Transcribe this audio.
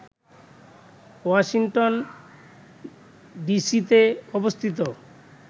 Washington ডিসিতে অবস্থিত